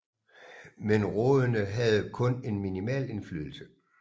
Men rådene havde kun en minimal indflydelse